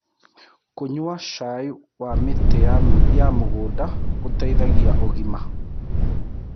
Kũnyua cai wa mĩtĩ ya mũgũnda gũteĩthagĩa ũgima